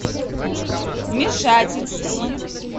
вмешательство